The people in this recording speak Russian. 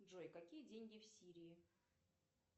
джой какие деньги в сирии